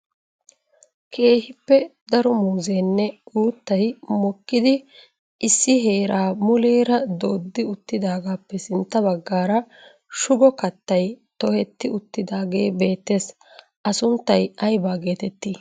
Keehippe daro muuzzenne uuttay mokkidi issi heera muleera dooddi uttidaagappe sintta baggaara shugo kattay tohetti uttidaagee beettees. A sunttay aybba getetti?